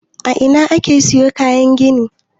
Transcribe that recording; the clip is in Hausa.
A ina ake siyo kayan gini?